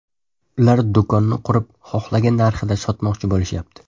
Ular do‘konni qurib, xohlagan narxida sotmoqchi bo‘lishyapti”.